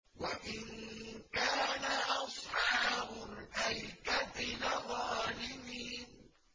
وَإِن كَانَ أَصْحَابُ الْأَيْكَةِ لَظَالِمِينَ